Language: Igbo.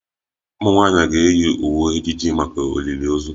Ụmụ nwanyị ga-eyi uwe ejiji maka olili ozu